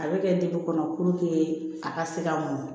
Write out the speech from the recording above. A bɛ kɛ kɔnɔ a ka se ka mɔn